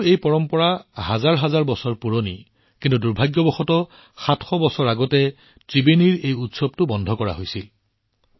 যদিও এই পৰম্পৰা হাজাৰ হাজাৰ বছৰ পুৰণি কিন্তু দুৰ্ভাগ্যবশতঃ ত্ৰিবেণীত অনুষ্ঠিত হোৱা এই উৎসৱটো ৭০০ বছৰ আগতে বন্ধ কৰা হৈছিল